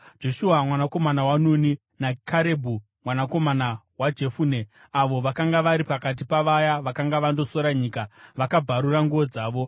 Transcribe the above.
Joshua mwanakomana waNuni naKarebhu mwanakomana waJefune, avo vakanga vari pakati pavaya vakanga vandosora nyika, vakabvarura nguo dzavo.